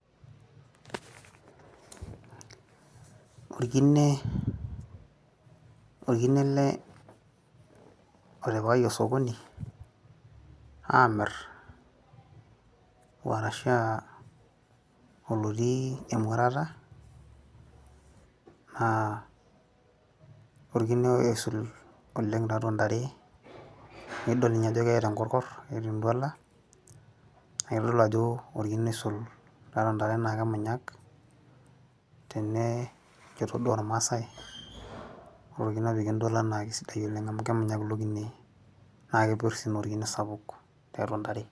orkine, orkine ele otipikaki osokoni amirr orashua olotii emuatata naa orkine oisul oleng tatua intare naidol ninye ajo keeta enkorkorr keeta entuala nakitodolu ajo orkine oisul tiatua intare naa kemunyak tene enchoto duo ormasae ore orkine opiki entuala naa kisidai oleng amu kemunyak ilo kine naakepirr sii naa orkine sapuk tiatua ntare.